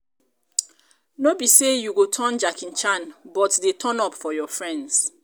no be sey you go turn jackie chan but dey turn up for your friends